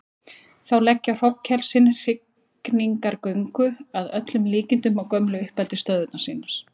Þá leggja hrognkelsin í hrygningargöngu, að öllum líkindum á gömlu uppeldisstöðvar sínar.